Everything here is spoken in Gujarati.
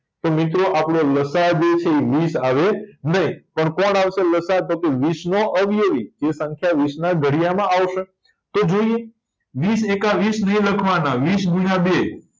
તો આપણો લસાઅ જે છે ઇ વીસ આવે નય તો કોણ આવશે લસાઅ તો કે વીસનો અવયવી તે સંખ્યા વીસના ઘડિયામાં આવશે તો જોયે વીસ એકા વીસ નય લખવાના વીસ ગુણ્યા બે